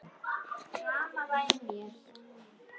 Reyni að snerta hann.